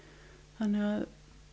þannig að